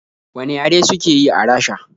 Wane yare suke yi a Rasha?